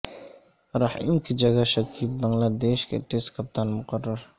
رحیم کی جگہ شکیب بنگلہ دیش کے ٹیسٹ کپتان مقرر